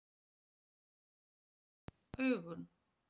Ekki hreyfa augun.